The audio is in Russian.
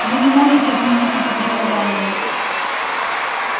вы не можете отменить это приказание